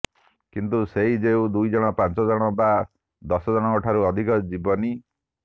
କିନ୍ତୁ ସେଇ ଯୋଉ ଦୁଇଜଣ ପାଞ୍ଚଜଣ ବା ଦଶଜଣଙ୍କଠାରୁ ଅଧିକ ଯିବନି